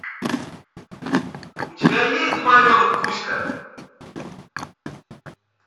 у тебя есть домовенок кузька